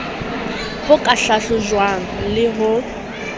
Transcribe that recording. ho ka hlahlojwang le ho